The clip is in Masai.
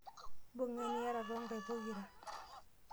Mbung'a eniyata too nkaik pokira.